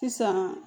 Sisan